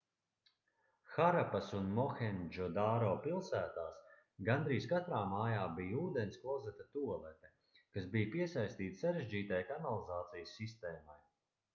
harapas un mohendžodaro pilsētās gandrīz katrā mājā bija ūdensklozeta tualete kas bija piesaistīta sarežģītai kanalizācijas sistēmai